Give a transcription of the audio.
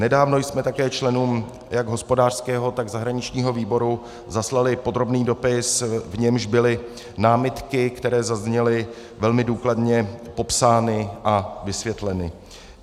Nedávno jsme také členům jak hospodářského, tak zahraničního výboru zaslali podrobný dopis, v němž byly námitky, které zazněly, velmi důkladně popsány a vysvětleny.